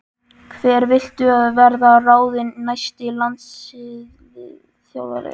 Hver viltu að verði ráðinn næsti landsliðsþjálfari?